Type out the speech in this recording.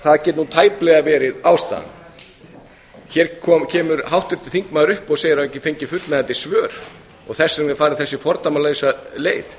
það getur nú tæplega verið ástæðan hér kemur háttvirtur þingmaður upp og segir að hann hafi ekki fengið fullnægjandi svör og þess vegna er farin þessi fordæmalausa leið